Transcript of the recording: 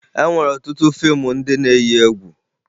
E nwere ọtụtụ fiimu ndị na-eyi egwu